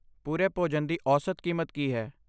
ਪੂਰੇ ਭੋਜਨ ਦੀ ਔਸਤ ਕੀਮਤ ਕੀ ਹੈ?